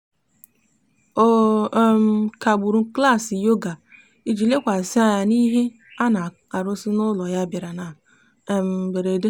ọ um kagburu klaasị yoga ya iji lekwasị anya n'ihe a na-arụzi n'ụlọ ya bịara na um mberede.